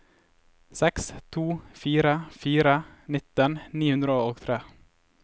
seks to fire fire nitten ni hundre og tre